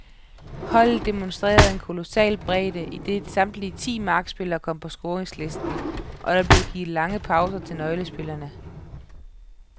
Holdet demonstrerede en kolossal bredde, idet samtlige ti markspillere kom på scoringslisten, og der blev givet lange pauser til nøglespillerne.